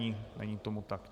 Není tomu tak.